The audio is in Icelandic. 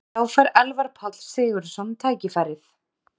Þá fær Elvar Páll Sigurðsson tækifærið.